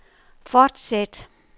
fortsæt